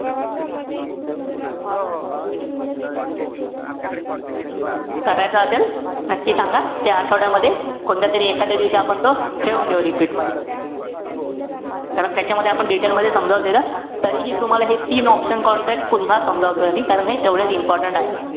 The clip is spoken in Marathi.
करायचा असेल, नक्की सांगा. या आठवड्यामध्ये, कोणत्यातरी एखादया दिवशी आपण तो ठेऊन देऊ repeat मध्ये. कारण त्याच्यामध्ये आपण detail मध्ये समजावून दिलं. तरीही तुम्हाला हे तीन option contract पुन्हा समजावतोय. कारण हे तेवढे important आहेत.